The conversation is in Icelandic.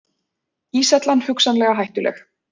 Íshellan hugsanlega hættuleg